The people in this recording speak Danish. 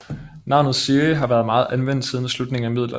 Navnet Siri har været meget anvendt siden slutningen af middelalderen